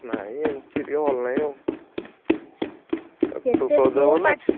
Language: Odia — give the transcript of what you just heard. ନାଇଁ ଏମତି ଟିକେ ଭଲ ନାଇଁ ଆଉ ।